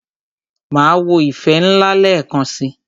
Máa wo "ìfẹ́ ńlá" lẹ́ẹ̀kan si.